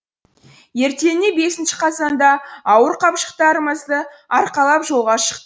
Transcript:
ертеңіне бесінші қазанда ауыр қапшықтарымызды арқалап жолға шықтық